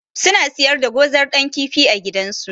Suna siyar da zogar Dan kifi a gidansu.